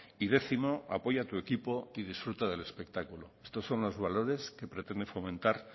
y décimo apoya a tu equipo y disfruta del espectáculo estos son los valores que pretende fomentar